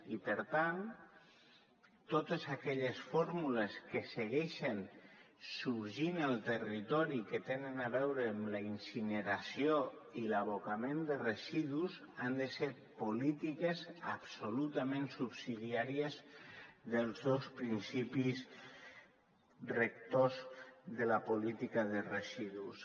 i per tant totes aquelles fórmules que segueixen sorgint al territori i que tenen a veure amb la incineració i l’abocament de residus han de ser polítiques absolutament subsidiàries dels dos principis rectors de la política de residus